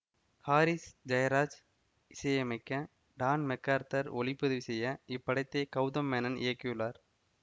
Harris Jayaraj இசையமைக்க Don McArthur ஒளிப்பதிவு செய்ய இப்படத்தை கெளதம் மேனன் இயக்கியுள்ளார்